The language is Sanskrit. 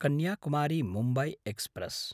कन्याकुमारी–मुम्बय् एक्स्प्रेस्